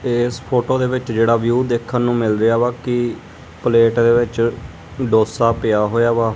ਇਸ ਫੋਟੋ ਦੇ ਵਿੱਚ ਜਿਹੜਾ ਵਿਊ ਦੇਖਣ ਨੂੰ ਮਿਲ ਰਿਹਾ ਵਾ ਕਿ ਪਲੇਟ ਦੇ ਵਿੱਚ ਡੋਸਾ ਪਿਆ ਹੋਇਆ ਵਾ।